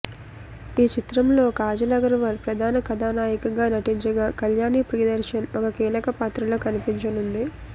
ఈ చిత్రంలో కాజల్ అగర్వాల్ ప్రధాన కథానాయకిగా నటించగా కళ్యాణి ప్రియదర్శన్ ఒక కీలక పాత్రలో కనిపించనుంది